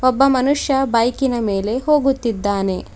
ಒಬ್ಬ ಮನುಷ್ಯ ಬೈಕಿನ ಮೇಲೆ ಹೋಗುತ್ತಿದ್ದಾನೆ.